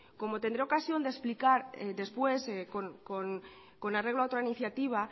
como tendré ocasión de explicar después con arreglo a otra iniciativa